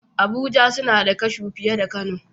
Abuja suna da kashu fiye da kano